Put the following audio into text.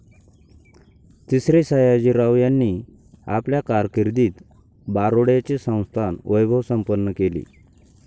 तिसरे सयाजीराव यांनी आपल्या कारकिर्दीत बारोड्याचे संस्थान वैभवसंपन्न केले.